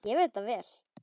Ég veit það vel!